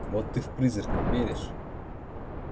вот ты в призраков веришь